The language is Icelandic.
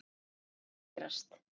Það mun aldrei gerast.